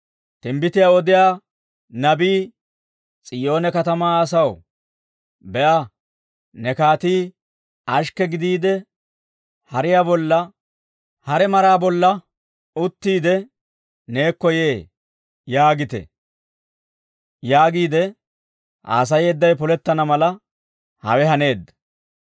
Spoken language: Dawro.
Timbbitiyaa odiyaa nabii, «S'iyoone katamaa asaw, ‹Be'a, ne kaatii ashikke gidiide, hariyaa bolla, hare maraa bolla uttiide, neekko yee› yaagite» yaagiide haasayeeddawe polettana mala, hawe haaneedda.